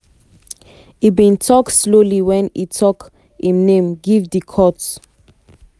e bin tok slowly wen e tok im name give di court.